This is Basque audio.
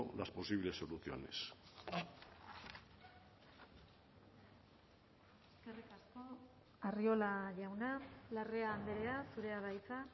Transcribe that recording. las posibles soluciones arriola jauna larrea andrea zurea da hitza